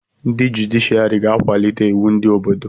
Ndị jụdịshịàrị ga-akwalite iwu ndị Obodo